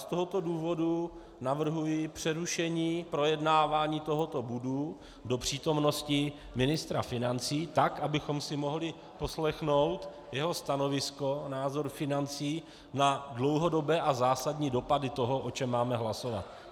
Z tohoto důvodu navrhuji přerušení projednávání tohoto bodu do přítomnosti ministra financí, tak abychom si mohli poslechnout jeho stanovisko, názor financí na dlouhodobé a zásadní dopady toho, o čem máme hlasovat.